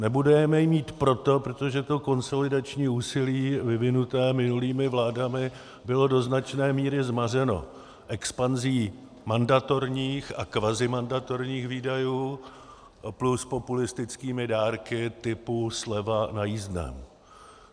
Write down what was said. Nebudeme je mít proto, protože to konsolidační úsilí vyvinuté minulými vládami bylo do značné míry zmařeno expanzí mandatorních a kvazimandatorních výdajů plus populistickými dárky typu sleva na jízdném.